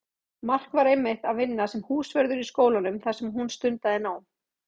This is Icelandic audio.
Mark var einmitt að vinna sem húsvörður í skólanum þar sem hún stundaði nám.